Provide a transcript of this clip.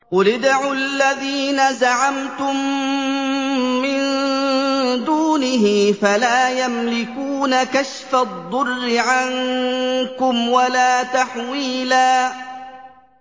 قُلِ ادْعُوا الَّذِينَ زَعَمْتُم مِّن دُونِهِ فَلَا يَمْلِكُونَ كَشْفَ الضُّرِّ عَنكُمْ وَلَا تَحْوِيلًا